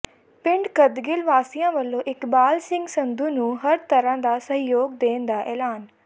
ਪਿੰਡ ਕੱਦਗਿੱਲ ਵਾਸੀਆਂ ਵਲੋਂ ਇਕਬਾਲ ਸਿੰਘ ਸੰਧੂ ਨੂੰ ਹਰ ਤਰ੍ਹਾਂ ਦਾ ਸਹਿਯੋਗ ਦੇਣ ਦਾ ਐਲਾਨ